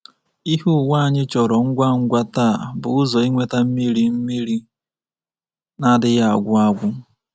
Ihe ụwa anyị chọrọ ngwa ngwa taa bụ ụzọ inweta mmiri mmiri na-adịghị agwụ agwụ.